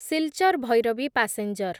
Silchar Bhairabi passenger